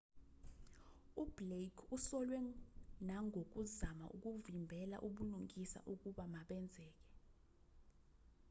ublake usolwe nangokuzama ukuvimbela ubulungisa ukuba benzeke